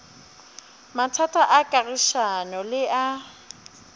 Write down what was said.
mathata a kagišano le a